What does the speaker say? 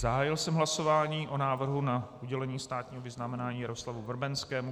Zahájil jsem hlasování o návrhu na udělení státního vyznamenání Jaroslavu Vrbenskému.